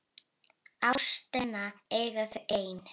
Ástina eiga þau ein.